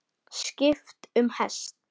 Skipt um hest.